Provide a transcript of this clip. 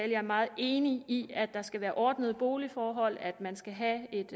jeg er meget enig i at der skal være ordnede boligforhold at man skal have et